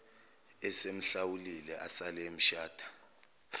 esemhlawulile asale esemshada